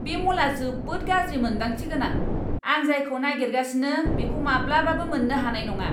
बे म'लआ जोबोद गाज्रि मोन्दांथि गोनां! आं जायखौ नागिरगासिनो बेखौ माब्लाबाबो मोन्नो हानाय नङा!